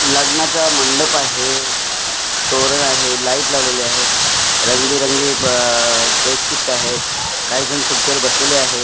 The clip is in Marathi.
लग्नाचा मंडप आहे तोरण आहे लाईट लावलेली आहेत रंगबेरंगी ब डे शिफ्ट आहेत काहीजण खुर्चीवर बसलेले आहेत.